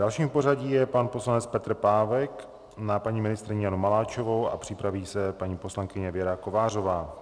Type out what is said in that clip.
Dalším v pořadí je pan poslanec Petr Pávek na paní ministryni Janu Maláčovou a připraví se paní poslankyně Věra Kovářová.